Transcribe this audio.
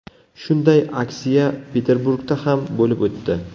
Shunday aksiya Peterburgda ham bo‘lib o‘tdi.